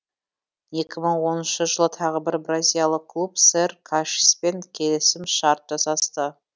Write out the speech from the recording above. жылы тағы бір бразилиялық клуб сэр кашиспен келісім шарт жасасты